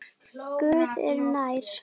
Guð er nær.